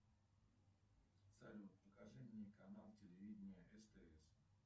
салют покажи мне канал телевидения стс